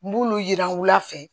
N b'olu yira u la fɛ